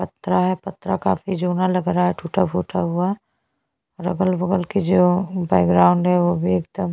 पत्रा है पत्रा काफी जूना लग रहा है टुटा-फूटा हुआ जो अगल-बगल बैकग्रॉउंड है वो भी एकदम --